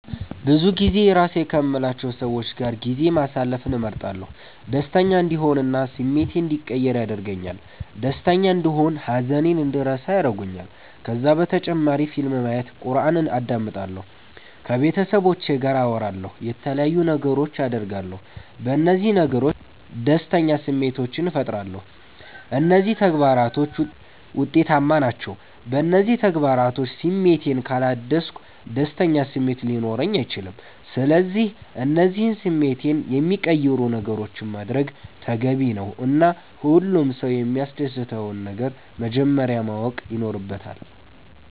ብዙጊዜ የራሴ ከምላቸዉ ሰዎች ጋር ጊዜ ማሰለፍን እመርጣለሁ። ደሰተኛ እንድሆን እና ስሜቴ እንዲቀየር ያደርገኛል ደስተና እንደሆን ሃዘኔን እንድረሳ ያረጉኛል። ከዛ በተጨማሪ ፊልም ማየት ዘፈን አዳምጣለሁ። ከቤተሰቦቼ ጋር አወራለሁ የተለያዩ ነገሮች አደርጋለሁ። በነዚህ ነገሮች ደስተኛ ስሜቶችን ፈጥራለሁ። እነዚህ ተግባራቶች ዉጤታማ ናቸዉ። በእነዚህ ተግባራቶች ስሜቴን ካላደስኩ ደስተኛ ስሜት ሊኖረኝ አይችልም። ስለዚህ እነዚህን ስሜቴን የሚቀይሩ ነገሮችን ማድረግ ተገቢ ነዉ እና ሁሉም ሰዉ የሚያሰደስተዉን ነገር መጀመረያ ማወቅ ይኖረባቸዋል